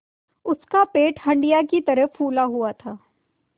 उसका पेट हंडिया की तरह फूला हुआ था